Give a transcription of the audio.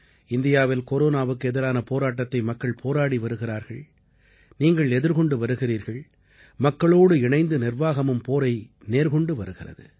இந்தியாவில் கொரோனாவுக்கு எதிரான போராட்டத்தை மக்கள் போராடி வருகிறார்கள் நீங்கள் எதிர்கொண்டு வருகிறீர்கள் மக்களோடு இணைந்து நிர்வாகமும் போரை நேர்கொண்டு வருகிறது